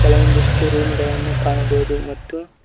ಕೆಲವೊಂದಿಷ್ಟು ರೂಮ್ ಗಳನ್ನು ಕಾಣಬಹುದು ಮತ್ತು.